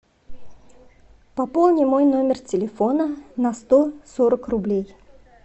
пополни мой номер телефона на сто сорок рублей